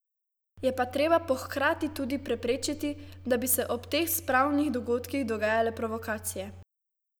Je pa treba po hkrati tudi preprečiti, da bi se ob teh spravnih dogodkih dogajale provokacije.